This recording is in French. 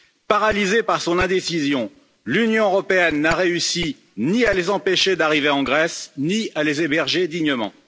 Paralysée par son indécision, l'Union européenne n'a réussi ni à les empêcher d'arriver en Grèce, ni à les héberger dignement.